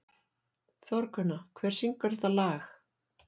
Þórgunna, hver syngur þetta lag?